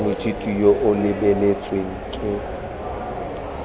moithuti yo o lebeletsweng ke